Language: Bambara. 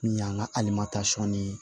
Min y'an ka alimatasɔn ni